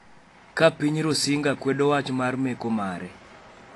ka piny Rusinga kwedo wach mar meko mare.